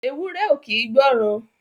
Ewúré ò kín gbọ̀ran.